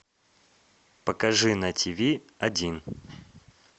покажи на ти ви один